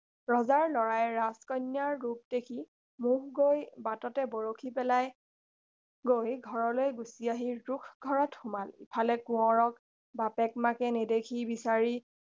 ৰজাৰ লৰাই কন্যাজনীৰ ৰূপ দেখি মোহ গৈ বাটতে বৰশী পেলাই থৈ ঘৰলৈ গুচি আহি ৰোষ ঘৰত সোমাল ইফালে কোঁৱৰক বাপেক মাকে নেদেখি বিচাৰি